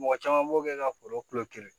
Mɔgɔ caman b'o kɛ ka foro kulo